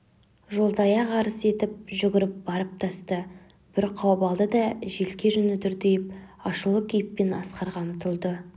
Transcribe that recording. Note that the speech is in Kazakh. жолдаяқ арс етіп жүгіріп барып тасты бір қауып алды да желке жүні дүрдиіп ашулы кейіппен асқарға ұмтылды